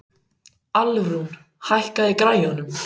Alrún, hækkaðu í græjunum.